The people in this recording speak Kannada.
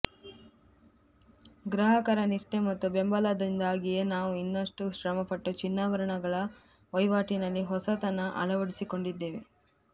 ಗ್ರಾಹಕರ ನಿಷ್ಠೆ ಮತ್ತು ಬೆಂಬಲದಿಂದಾಗಿಯೇ ನಾವು ಇನ್ನಷ್ಟು ಶ್ರಮಪಟ್ಟು ಚಿನ್ನಾಭರಣಗಳ ವಹಿವಾಟಿನಲ್ಲಿ ಹೊಸತನ ಅಳವಡಿಸಿಕೊಂಡಿದ್ದೇವೆ